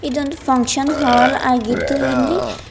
ಇದೊಂದು function hall ಆಗಿದ್ದು ಇಲ್ಲಿ--